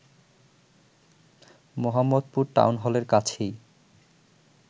Mohammadpur town হলের কাছেই